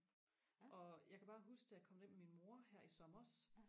og jeg kan bare huske da jeg kom derind med min mor her i sommers